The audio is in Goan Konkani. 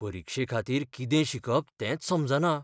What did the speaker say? परिक्षेखातीर कितें शिकप तेंच समजना.